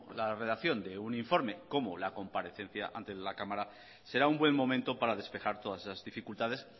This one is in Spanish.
la redacción de un informe como la comparecencia ante la cámara será un buen momento para despejar todas esas dificultades